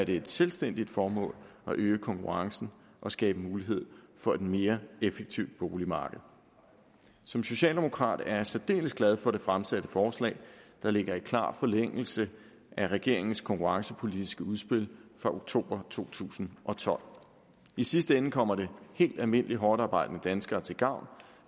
det et selvstændigt formål at øge konkurrencen og skabe mulighed for et mere effektiv boligmarked som socialdemokrat er jeg særdeles glad for det fremsatte forslag der ligger i klar forlængelse af regeringens konkurrencepolitiske udspil fra oktober to tusind og tolv i sidste ende kommer det helt almindelige hårdtarbejdende danskere til gavn